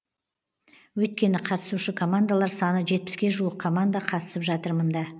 өйткені қатысушы командалар саны жетпіске жуық команда қатысып жатыр мында